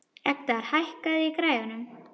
Edgar, hækkaðu í græjunum.